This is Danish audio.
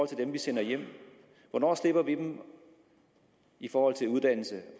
til dem vi sender hjem hvornår slipper vi dem i forhold til uddannelse